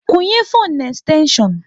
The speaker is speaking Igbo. Kwunye fone na ekstenshion